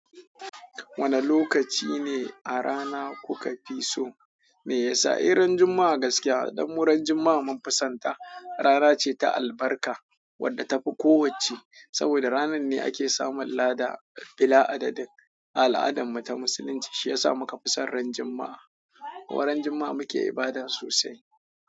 Wane lokaci ne a rana kuka fi so? Me yasa eh ran Juma'a gaskiya ɗan wurin Juma'a mun fi sonta, rana ce ta albarka wadda tafi kowacce. Saboda ranar ne ake samun lada bila adadin al'adan mu ta musulunci, shi ya sa muka fi son ran Juma'a. Wa ran Juma'a muke ibada sosai.